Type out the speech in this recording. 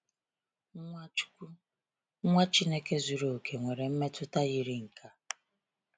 Nwachukwu, Nwa Chineke zuru oke, nwere mmetụta yiri nke a.